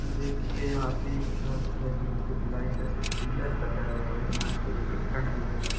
देखिये यहाँ पे एक छत है जोकी ढलाई का छत हैं पिल्लर का घर है यहाँ पे देखिये कट भी लगा हुआ है।